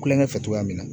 Kulonkɛ fɛ cogoya min na